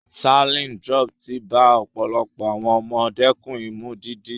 Saline drops ti bá ọ̀pọ̀lọpọ̀ àwọn ọmọ dẹ́kun Imú dídí.